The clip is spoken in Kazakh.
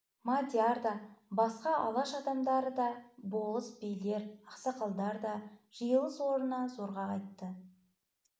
мадияр да басқа алаш адамдары да болыс билер ақсақалдар да жиылыс орнына зорға қайтты